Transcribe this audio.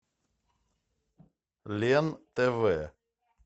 лен тв